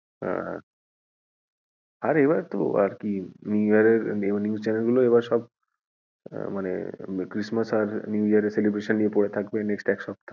হ্যাঁ আর এবারে তো আরকি new year এ news channel গুলো এবার সব আহ মানে christmass আর new year এর celebration নিয়ে পড়ে থাকবে next এক সপ্তাহ।